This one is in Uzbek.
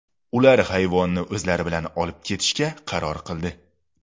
Ular hayvonni o‘zlari bilan olib ketishga qaror qildi.